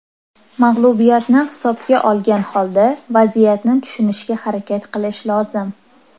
Mag‘lubiyatni hisobga olgan holda vaziyatni tushunishga harakat qilish lozim.